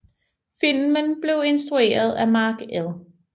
Filmen blev instrueret af Mark L